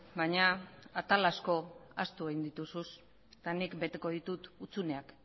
baina atal asko ahaztu egin dituzu eta nik beteko ditut hutsuneak